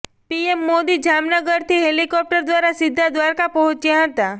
PM Modi જામનગરથી helicopter દ્વારા સીધા દ્વારકા પહોંચ્યા હતાં